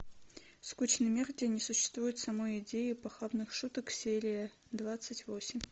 скучный мир где не существует самой идеи похабных шуток серия двадцать восемь